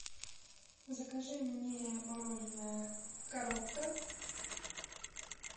закажи мне мороженое коровка